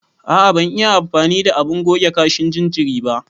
A a ban iya amfani da abun goge kashin jinjiri ba.